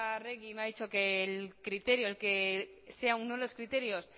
arregi me ha dicho que el criterio que sea uno de los criterios